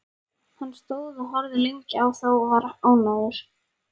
Hann stóð og horfði lengi á þá og var ánægður.